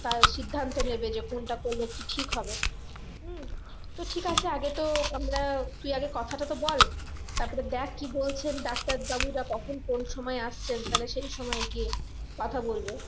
তার সিদ্ধান্ত নেবে যে কোনটা করলে কি ঠিক হবে উম তো ঠিক আছে আগে তো আমরা তুই আগে কথাটা তো বল তারপরে দেখ কি বলছেন ডাক্তার বাবুরা কখন কোন সময় আসছেন তাহলে সেই সময় গিয়ে কথা বলবো